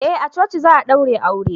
eh a coci za a daure aure